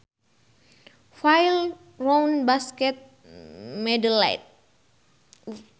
File Round basket mandelette